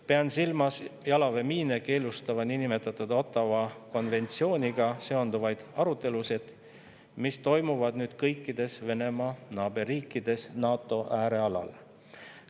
Pean silmas jalaväemiine keelustava niinimetatud Ottawa konventsiooniga seonduvaid arutelusid, mis toimuvad nüüd kõikides Venemaa naaberriikides NATO äärealal.